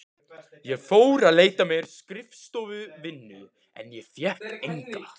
Ég fór að leita mér að skrifstofuvinnu en fékk enga.